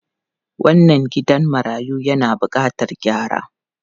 Wannan gidan marayu yana bukatar gyara.